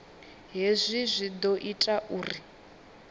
hezwi zwi ḓo ita uri